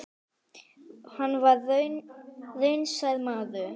Hann var raunsær maður.